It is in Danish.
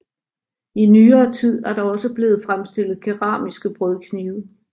I nyere tid er der også blevet fremstillet keramiske brødknive